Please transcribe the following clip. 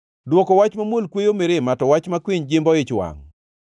Dwoko wach mamuol kweyo mirima, to wach makwiny jimbo ich wangʼ.